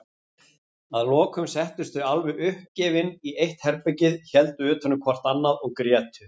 Að lokum settust þau alveg uppgefin í eitt herbergið, héldu utanum hvort annað og grétu.